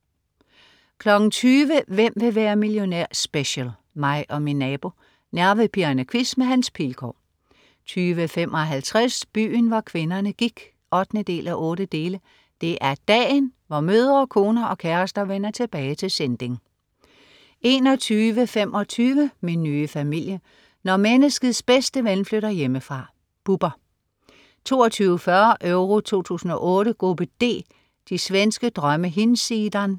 20.00 Hvem vil være millionær? Special. Mig og min nabo. Nervepirrende quiz med Hans Pilgaard 20.55 Byen hvor kvinderne gik 8:8. Det er dagen, hvor mødre, koner og kærester vender tilbage til Sinding 21.25 Min nye familie. Når menneskets bedste ven flytter hjemmefra. Bubber 22.40 Euro 2008: Gruppe D: De svenske drømme hinsidan